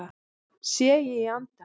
Sé ég í anda